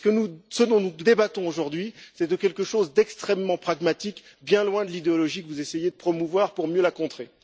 Ce dont nous débattons aujourd'hui est quelque chose d'extrêmement pragmatique, bien loin de l'idéologie que vous essayez de promouvoir pour mieux la contrer.